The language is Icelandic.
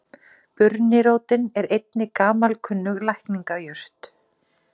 Burnirótin er einnig gamalkunnug lækningajurt.